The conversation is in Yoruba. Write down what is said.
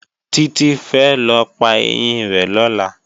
Títí fẹ́ lọ pa ẹyín rẹ̀ lọ́la